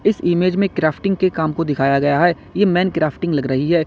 Image में crafting के काम को दिखाया गया है यह मैन क्राफ्टिंग लग रही है।